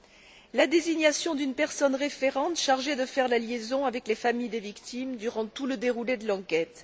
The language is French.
de la désignation d'une personne référente chargée de faire la liaison avec les familles des victimes durant tout le déroulement de l'enquête